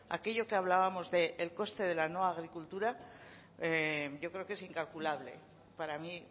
aquello que hablábamos del coste de la no agricultura yo creo que es incalculable para mí